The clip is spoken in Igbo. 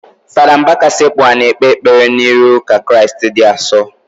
Fada Mbaka sekpu anị ekpe ekpere n'iru Ukarịstịa di asọ.